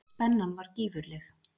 Spennan var gífurleg.